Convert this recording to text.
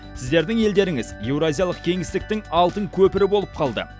сіздердің елдеріңіз еуразиялық кеңістіктің алтын көпірі болып қалды